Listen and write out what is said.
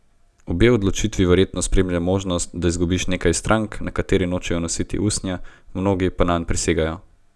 Obe odločitvi verjetno spremlja možnost, da izgubiš nekaj strank, nekateri nočejo nositi usnja, mnogi pa nanj prisegajo.